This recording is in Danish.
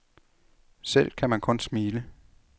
Selv kan man kun smile.